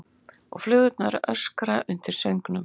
Og flugurnar öskra undir söngnum.